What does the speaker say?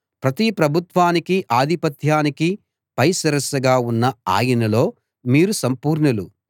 ప్రతి ప్రభుత్వానికీ ఆధిపత్యానికీ పై శిరస్సుగా ఉన్న ఆయనలో మీరు సంపూర్ణులు